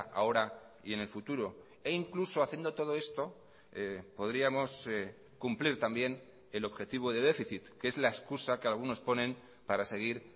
ahora y en el futuro e incluso haciendo todo esto podríamos cumplir también el objetivo de déficit que es la excusa que algunos ponen para seguir